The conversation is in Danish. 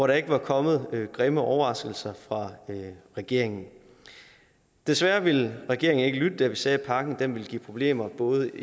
der ikke var kommet grimme overraskelser fra regeringen desværre ville regeringen ikke lytte da vi sagde at pakken vil give problemer både